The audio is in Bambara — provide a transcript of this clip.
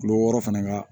Kulo wɔɔrɔ fana ka